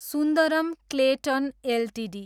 Sundaram Clayton Ltd